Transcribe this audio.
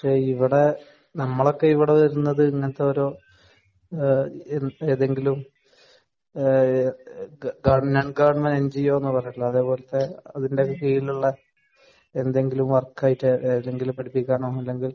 പക്ഷേ ഇവിടെ നമ്മളൊക്കെ ഇവിടെ വരുന്നത് ഇങ്ങനത്തെ ഓരോ ഏ ഏതെങ്കിലും ഏ ഗവൺമെന്റ് എൻജിഒ എന്ന് പറഞ്ഞിട്ടുള്ള അതേ പോലെ അതിന്റെ കീഴിലുള്ള എന്തെങ്കിലും വർക്ക് ആയിട്ട് എവിടെങ്കിലും പടിപ്പിക്കാനോ അല്ലെങ്കിൽ